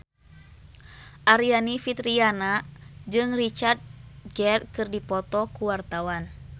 Aryani Fitriana jeung Richard Gere keur dipoto ku wartawan